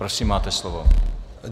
Prosím, máte slovo.